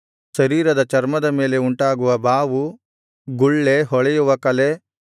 ಶರೀರದ ಚರ್ಮದ ಮೇಲೆ ಉಂಟಾಗುವ ಬಾವು ಗುಳ್ಳೆ ಹೊಳೆಯುವ ಕಲೆ